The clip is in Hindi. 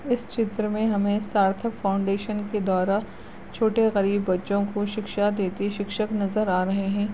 इस चित्र में हमे सार्थक फाउंडेशन के द्वारा छोटे गरीब बच्चों के शिक्षा देते शिक्षक नजर आ रहे है।